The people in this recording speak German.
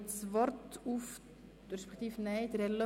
Das Wort hat Grossrat Löffel.